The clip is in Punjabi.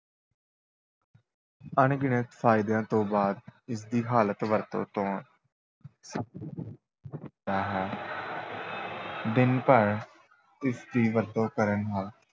ਅਣਗਿਣਤ ਫਾਇਦਿਆਂ ਤੋਂ ਬਾਅਦ ਇਸ ਦੀ ਗਲਤ ਵਰਤੋਂ ਤੋਂ ਹੁੰਦਾ ਹੈ ਦਿਨ ਭਰ ਇਸ ਦੀ ਵਰਤੋਂ ਕਰਨ ਨਾਲ